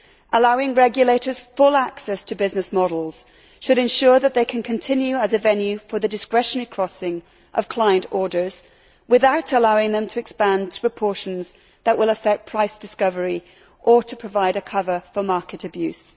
Allowing regulators full access to business models should ensure that they can continue as a venue for the discretionary crossing of client orders without allowing them to expand to proportions that will affect price discovery or to provide a cover for market abuse.